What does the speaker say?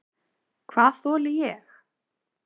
Hvað þoli ég?